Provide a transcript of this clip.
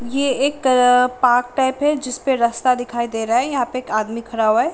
ये एक park type है जिसपे रस्ता दिखाई दे रहा है यहाँ पे एक आदमी खड़ा हुआ है ।